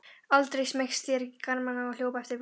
Andri smeygði sér í garmana og hljóp eftir beljunum.